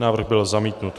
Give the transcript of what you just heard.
Návrh byl zamítnut.